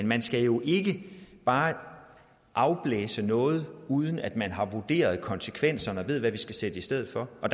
man skal jo ikke bare afblæse noget uden at man har vurderet konsekvenserne og ved hvad man skal sætte i stedet for og